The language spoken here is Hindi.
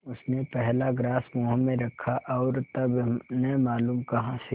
उसने पहला ग्रास मुँह में रखा और तब न मालूम कहाँ से